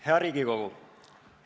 Hea Riigikogu!